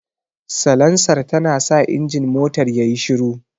Salansar tanasa injin motar yayi shiru.